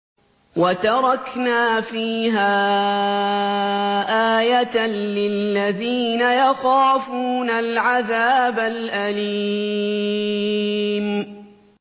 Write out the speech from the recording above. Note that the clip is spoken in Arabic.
وَتَرَكْنَا فِيهَا آيَةً لِّلَّذِينَ يَخَافُونَ الْعَذَابَ الْأَلِيمَ